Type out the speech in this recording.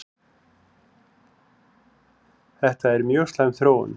Þetta er mjög slæm þróun